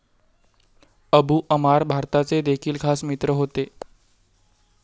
Abu Amar भारताचे देखील खास मित्र होते.